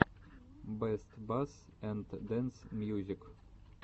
бэст басс энд дэнс мьюзик